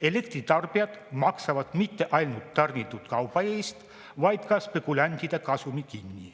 Elektritarbijad maksavad mitte ainult tarnitud kauba eest, vaid maksavad kinni ka spekulantide kasumi.